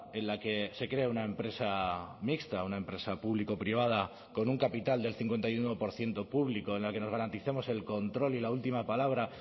en la que se crea una empresa mixta una empresa público privada con un capital del cincuenta y uno por ciento público en la que nos garanticemos el control y la última palabra